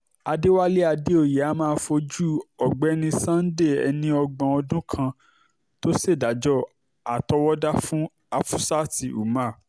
àdẹ̀wálé àdèoyè a máa fojú ọ̀gbẹ́ni sunday ẹni ọgbọ̀n ọdún kan tó ṣèdájọ́ àtọwọ́dá fún hafsat umar